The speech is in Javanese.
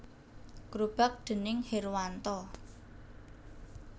Grobak déning Herwanto